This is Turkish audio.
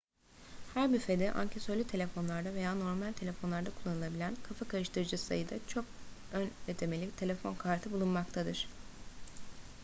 her büfede ankesörlü telefonlarda veya normal telefonlarda kullanılabilen kafa karıştırıcı sayıda çok ön ödemeli telefon kartı bulunmaktadır